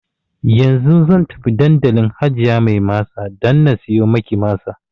Yanzu zan tafi dandalin hajiya mai masa dan na siyo maki masa